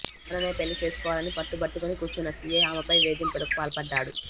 తననే పెళ్లి చేసుకోవాలని పట్టుబట్టుకుని కూర్చున్న సీఐ ఆమెపై వేధింపులకు పాల్పడ్డాడు